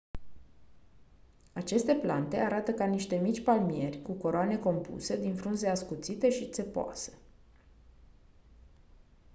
aceste plante arată ca niște mici palmieri cu coroane compuse din frunze ascuțite și țepoase